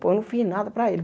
Pô, eu não fiz nada para ele.